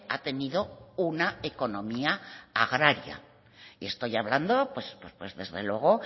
ha tenido una economía agraria y estoy hablando pues desde luego